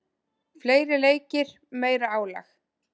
Fleiri leikir, meira álag.